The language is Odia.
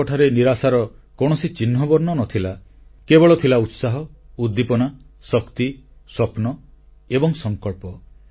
ତାଙ୍କଠାରେ ନିରାଶାର କୌଣସି ଚିହ୍ନବର୍ଣ୍ଣ ନ ଥିଲା କେବଳ ଥିଲା ଉତ୍ସାହ ଉଦ୍ଦୀପନା ଶକ୍ତି ସ୍ୱପ୍ନ ଏବଂ ସଂକଳ୍ପ